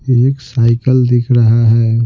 एक साइकिल दिख रहा है।